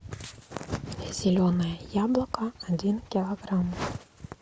зеленое яблоко один килограмм